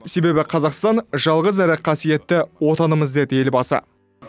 себебі қазақстан жалғыз әрі қасиетті отанымыз деді елбасы